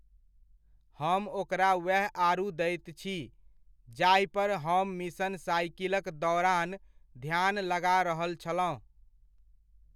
हम ओकरा वएह आड़ू दैत छी, जाहिपर हम मिशन साइकिलक दौरान ध्यान लगा रहल छलहुँ।